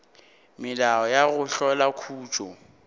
melao ya go hlola khutšo